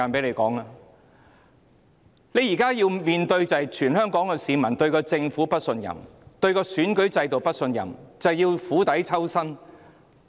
現在政府要面對全港市民對政府的不信任、對選舉制度的不信任，政府要釜底抽薪。